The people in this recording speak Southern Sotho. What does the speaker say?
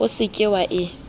o se ke wa e